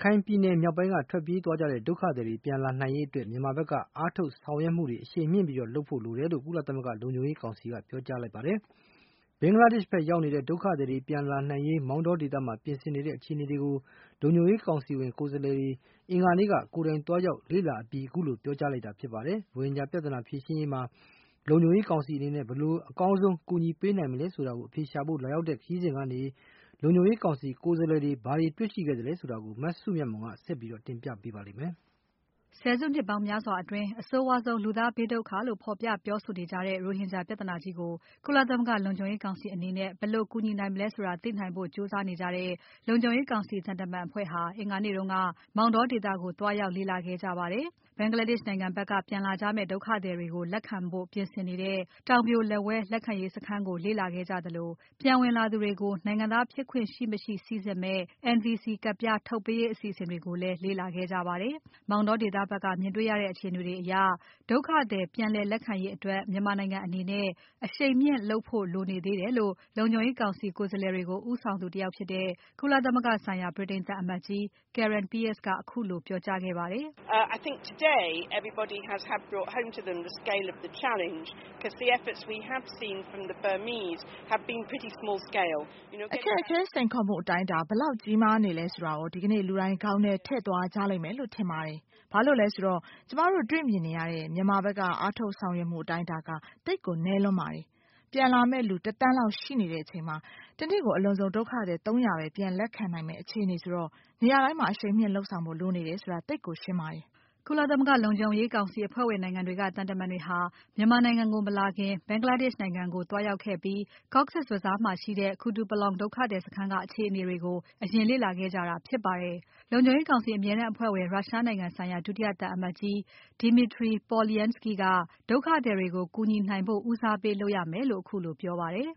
ခိုင်ပြည်နယ်မြောက်ပိုင်းက ထွက်ပြေးသွားတဲ့ဒုက္ခသည်တွေ ပြန်လာနိုင်ရေးအတွက် မြန်မာဖက်ကအားထုတ်ဆောင်ရွက်မှုတွေ အရှိန်မြှင့်လုပ်ဖို့ လိုတယ်လို့ ကုလသမဂ္ဂလုံခြုံရေးကောင်စီက ပြောကြားလိုက်ပါတယ်။ ဘင်္ဂလားဒေ့ရှ် ဖက်ရောက်နေတဲ့ ဒုက္ခသည်တွေ ပြန်လာနိုင်ရေး မောတောဒေသမှာ ပြင်ဆင်နေတဲ့ အခြေအနေတွေကို လုံခြုံရေးကောင်စီဝင်ကိုယ်စားလှယ်တွေ အင်္ဂါနေ့က ကိုယ်တိုင်သွားရောက်လေ့လာအပြီးမှာ ခုလို ပြောကြားခဲ့တာဖြစ်ပါတယ်။ ရိုဟင်ဂျာပြဿနာဖြေရှင်းရေးမှာ လုံခြုံရေးကောင်စီအနေနဲ့ ဘယ်လိုအကောင်းဆုံး အကူအညီပေးနိုင်မလဲဆိုတာ အဖြေရှာဖို့ လာရောက်တဲ့ခရီးစဉ်ကနေ လုံခြုံရေးကောင်စီကိုယ်စားလှယ်တွေ ဘာတွေ တွေ့ရှိခဲ့သလဲဆိုတာကို မစုမြတ်မွန်က ဆက်ပြီး တင်ပြပါမယ်။ ဆယ်စုနှစ်ပေါင်းများစွာအတွင်း အဆိုးဝါးဆုံး လူသားဘေးဒုက္ခလို့ ဖော်ပြပြောဆိုနေကြတဲ့ ရိုဟင်ဂျာပြဿနာကြီးကို ကုလသမဂ္ဂလုံခြုံရေးကောင်စီအနေနဲ့ ဘယ်လိုကူညီနိုင်မလဲဆိုတာ သိနိုင်ဖို့ကြိုးစားနေကြတဲ့ လုံခြုံရေးကောင်စီသံတမန်အဖွဲ့ဟာ အင်္ဂါနေ့က မောင်တောဒေသကို သွားရောက် လေ့လာခဲ့ကြပါတယ်။ Bangladesh နိုင်ငံဖက်က ပြန်လာကြမယ့် ဒုက္ခသည်တွေကို လက်ခံဖို့ ပြင်ဆင်နေတဲ့ တောင်ပြိုလက်ဝဲ လက်ခံရေးစခန်းကို လေ့လာခဲ့ကြသလို။ ပြန်ဝင်လာသူတွေကို နိုင်ငံသားဖြစ်ခွင့်ရှိမရှိစိစစ်မယ့် NVC ကဒ်ပြား ထုတ်ပေးရေး အစီအစဉ်တွေကိုလည်း လေ့လာခဲ့ကြပါတယ်။ မောင်တောဒေသဖက်က မြင်တေ့ွရတဲ့အခြေအနေတွေအရ ဒုက္ခသည်ပြည်လည်ခံရေးအတွက် မြန်မာနိုင်ငံအနေနဲ့ အရှိန်မြှင့်လုပ်ဖို့ လိုနေသေးတယ်လို့ လုံခြုံရေးကောင်စီကိုယ်စားလှယ်တွေကို ဦးဆောင်သူတယောက်ဖြစ်တဲ့ ကုလသမဂ္ဂဆိုင်ရာ ဗြိတိန်သံအမတ်ကြီး Karen Pierce ကခုလို ပြောကြားခဲ့ပါတယ်။ "အခက်အခဲ စိန်ခေါ်မှုအတိုင်းအတာ ဘယ်လောက်ကြီးမားနေသလဲဆိုတာကို ဒီကနေ့ လူတိုင်း ခေါင်းထဲထည့်သွားကြလိမ့်မယ်လို့ ထင်ပါတယ်။ ဘာလို့လဲဆိုတော့ ကျွန်မတို့တေ့ွမြင်ရတဲ့ မြန်မာဖက်က အားထုတ်ဆောင်ရွက်မှုအတိုင်းအတာက သိပ်ကို နည်းလွန်းပါတယ်။ ပြန်လာမယ့် လူ ၁ သန်းလောက် ရှိနေချိန်မှာ တနေ့ကို အလွန်ဆုံး ဒုက္ခသည် ၃၀၀ ပဲပြန်လက်ခံနိုင်မယ့် အခြေအနေဆိုတော့ နေရာတိုင်းမှာ အရှိန်မြှင့်လုပ်ဖို့ လိုနေတယ်ဆိုတာ သိပ်ကိုရှင်းပါတယ်။" ကုလသမဂ္ဂ လုံခြုံရေးကောင်စီ အဖွဲ့ဝင်နိုင်ငံတွေက သံတမန်တွေဟာ မြန်မာနိုင်ငံကို မလာခင် Bangladesh နိုင်ငံကိုသွားရောက်ခဲ့ပြီး Cox’s Bazar မှာရှိတဲ့ Kutupalong ဒုက္ခသည်စခန်းက အခြေအနေတွေကို အရင်လေ့လာခဲ့ကြတာဖြစ်ပါတယ်။ လုံခြုံရေးကောင်စီအမြဲတမ်းအဖွဲ့ဝင် ရုရှားနိုင်ငံဆိုင်ရာ ဒုတိယသံအမတ်ကြီး Dmitry Polyanskiy က ဒုက္ခသည်တွေကို ကူညီနိုင်ဖို့ ဦးစားပေးလုပ်ရမယ်လို့ ခုလို ပြောပါတယ်။ "